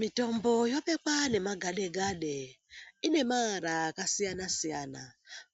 Mitombo yobekwa nemagadegade ine maara akasiyana-siyana